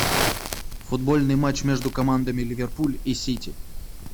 футбольный матч между командами ливерпуль и сити